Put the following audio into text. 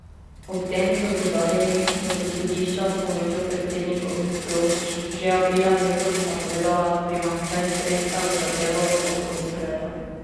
Ob tem so poudarili, da so sodišča s pomočjo predsednikovih plošč že aprila letos napovedala primanjkljaj sredstev za delo ob koncu leta.